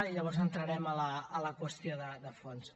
i llavors entrarem a la qüestió de fons